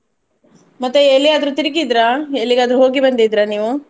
ಮತ್ತೆ ಎಲ್ಲಿಯಾದ್ರೂ ತಿರ್ಗಿದ್ರಾ ಎಲ್ಲಿಗಾದ್ರೂ ಹೋಗಿ ಬಂದಿದ್ರಾ ನೀವು?